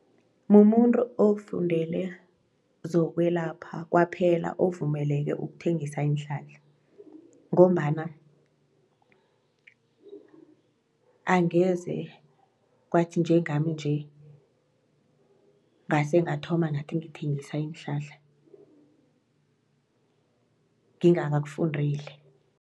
Mumuntu ofundele zokwelapha kwaphela ovumeleke ukuthengisa iinhlahla ngombana angeze kwathi njengami nje ngase ngathoma ngathi ngithengisa iinhlahla ngingakakufundeli.